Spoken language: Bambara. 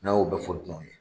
N'a y'o bɛ fɔ dunanw ye.